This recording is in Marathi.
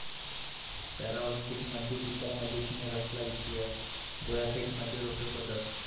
पॅराऑलिम्पिकमध्ये दीपा मलिकने रचला इतिहास, गोळाफेकमध्ये रौप्य पदक